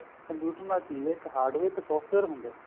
computer ਨਾਲ ਕੀ ਏ ਇੱਕ hardware ਤੇ software ਹੁੰਦਾ